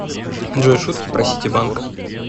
джой шутки про ситибанк